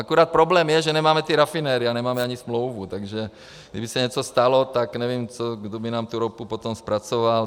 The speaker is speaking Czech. Akorát problém je, že nemáme ty rafinérie a nemáme ani smlouvu, takže kdyby se něco stalo, tak nevím, kdo by nám tu ropu potom zpracoval.